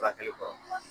Furakɛli kɔ